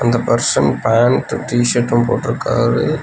இந்த person pant T-shirt போட்ருக்காரு.